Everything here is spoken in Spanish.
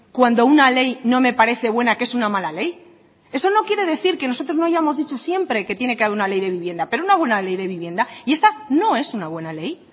cuando una ley no me parece buena que es una mala ley eso no quiere decir que nosotros no hayamos dicho siempre que tiene que haber una ley de vivienda pero una buena ley de vivienda y esta no es una buena ley